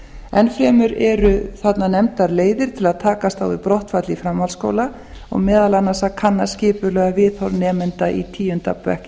ennfremur eru þarna nefndar leiðir til að takast á við í brottfall í framhaldsskóla og meðal annars að kanna skipulega viðhorf nemenda í tíu ára bekk í